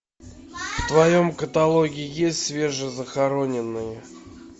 в твоем каталоге есть свежезахороненные